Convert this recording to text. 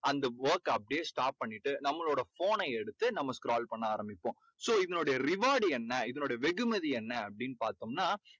அந்த work க அப்படியே stop பண்ணிட்டு நம்மளோட phone னை எடுத்து நம்ம அப்படியே scroll பண்ண ஆரம்பிப்போம். so இதனோட reward என்ன? இதனோட வெகுமதி என்ன? அப்படீன்னு பார்த்தோமுன்னா